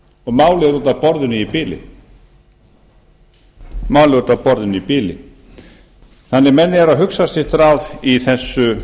og málið er úti af borðinu í bili menn eru að hugsa sitt ráð í